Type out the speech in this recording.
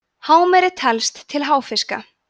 hámeri telst til háfiska